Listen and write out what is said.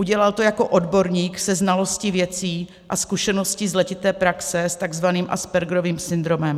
Udělal to jako odborník se znalostí věcí a zkušeností z letité praxe s tzv. Aspergerovým syndromem.